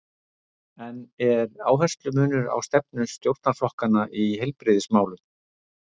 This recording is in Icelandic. En er áherslumunur á stefnu stjórnarflokkanna í heilbrigðismálum?